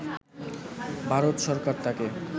ভারত সরকার তাকে